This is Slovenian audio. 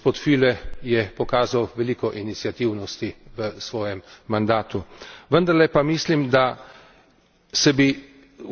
Imeli smo je precej tudi sedaj in gospod Fühle je pokazal veliko iniciativnosti v svojem mandatu.